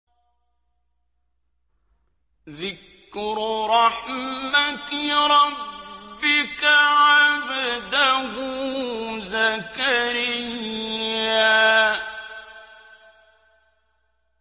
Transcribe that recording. ذِكْرُ رَحْمَتِ رَبِّكَ عَبْدَهُ زَكَرِيَّا